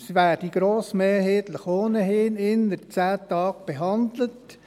Es werde grossmehrheitlich ohnehin innert 10 Tagen behandelt.